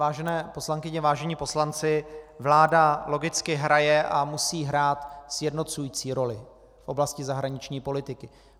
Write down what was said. Vážené poslankyně, vážení poslanci, vláda logicky hraje a musí hrát sjednocující roli v oblasti zahraniční politiky.